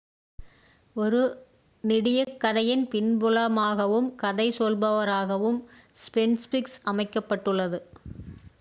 ஒரு நெடியக் கதையின் பின்புலமாகவும் கதை சொல்பவராகவும் ஸ்ஃபின்க்ஸ் அமைக்கப்பட்டுள்ளது